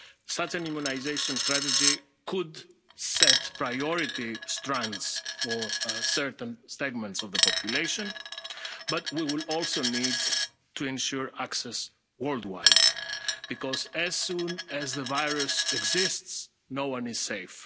statement. Such an immunisation strategy could set priority strands for certain segments of the population, but we will also need to ensure access worldwide because, as long as the virus exists, no